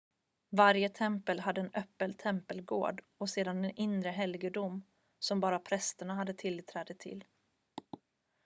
varje tempel hade en öppen tempelgård och sedan en inre helgedom som bara prästerna hade tillträde till